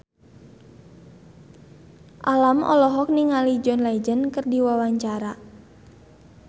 Alam olohok ningali John Legend keur diwawancara